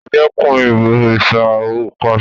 Ẹ dẹ́kun “ ìbọ̀rìsà ”! ó pàsẹ.